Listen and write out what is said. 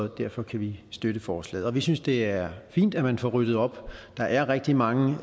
derfor kan vi støtte forslaget vi synes det er fint at man får ryddet op der er rigtig mange